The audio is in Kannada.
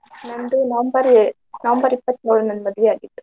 ನಂದು November ಏಳು November ಇಪ್ಪತ್ಯೊಳ ನಂದ್ ಮದ್ವಿ ಆಗಿದ್ದ್.